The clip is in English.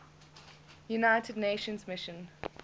united nations mission